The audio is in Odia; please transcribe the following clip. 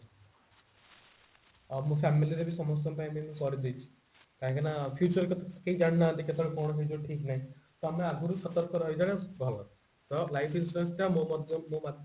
ଆଉ ମୋ family ରେ ବି ସମସ୍ତଙ୍କ ପାଇଁ ମୁଁ କରିଦେଇଛି କାହିଁ କି ନା future କଥା କେହି ଜାଣିନାହାନ୍ତି କେତେବେଳେ କଣ ହେଇଯିବ ଠିକ ନାହିଁ ତ ଆମେ ଆଗରୁ ସତର୍କ ରହିବା ଟା ଭଲ ତ life insurance ଟା ମୋ ମଧ୍ୟ ମୋ